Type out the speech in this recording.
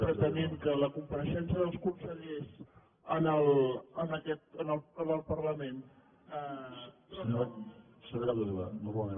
pretenent que la compareixença dels consellers en el parlament